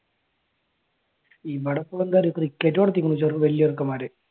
ഇവിടെയിപ്പോ എന്താ അറിയോ ക്രിക്കറ്റ് കളിക്കുന്നു വലിയ ചെറുക്കന്മാർ.